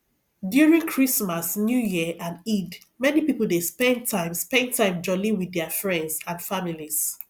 during christmas new year and eid many pipo dey spend time spend time jolli with their friends and families